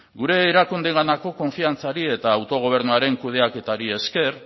gure erakundeenganako konfiantzari eta autogobernuaren kudeaketari esker